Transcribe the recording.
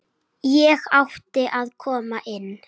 Ég átti að koma inn!